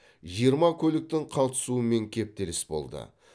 жиырма көліктің қатысуымен кептеліс болды